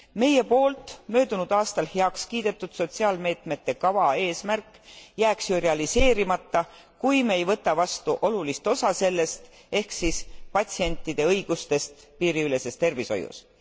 Meie poolt möödunud aastal heaks kiidetud sotsiaalmeetmete kava eesmärk jääks ju realiseerimata, kui me ei võta vastu olulist osa sellest, ehk siis patsientide õigustest piiriüleses tervishoius.